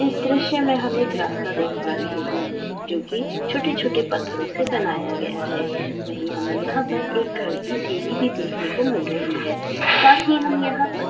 इस दृश्य में हम एक रास्ता देख पा रहें हैं जो कि छोटे-छोटे पत्थरों से बनाया गया है वही हमें यहां पर एक घर की सिंड़ी भी देखने को मिल रही है साथ ही हम यहां पर--